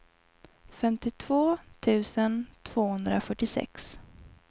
femtiotvå tusen tvåhundrafyrtiosex